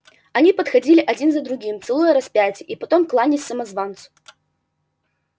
они подходили один за другим целуя распятие и потом кланяясь самозванцу